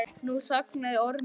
Nú þagnaði Ormur.